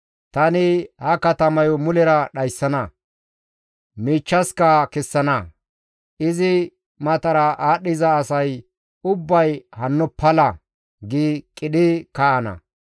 Tani ha katamayo mulera dhayssana; miichchaska kessana; izi matara aadhdhiza asay ubbay hanno pala! gi qidhi kaa7ana.